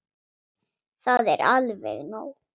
Það er alveg nóg.